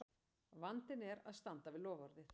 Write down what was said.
Vandinn er að standa við loforðið!